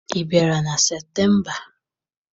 Ị bịara na Septemba?